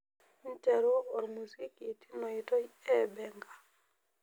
nteru ormuziki tinoitoi eebenga